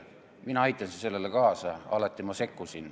Mina aitasin sellele kaasa, ma alati sekkusin.